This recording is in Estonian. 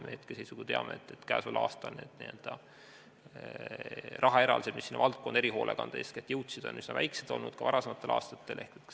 Me hetkeseisuga teame, et käesoleval aastal on rahaeraldised, mis sinna valdkonda, erihoolekandesse, on jõudnud, üsna väikesed olnud, nii ka varasematel aastatel.